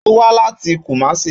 Ó wá láti Kumasi